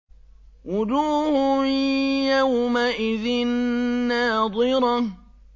وُجُوهٌ يَوْمَئِذٍ نَّاضِرَةٌ